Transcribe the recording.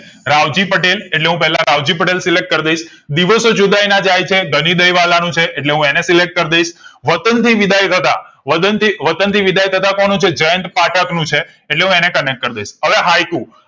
રાવજી પટેલ એટલે હું પેલા રાવજી પટેલ select કરીદઈશ દિવસો જુદાઈ ના જાય છે ગનીદય વાલા નું છે એટલે હું અને select કરીદઈશ વતન થી વિદાય થતા વદન વતન થી વિદાય થતા કોનું છે જયંત પાઠક નું છે એટલે હું અને connect કરીદાઈશ હવે હાઈકુ